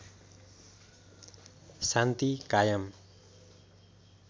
शान्ति कायम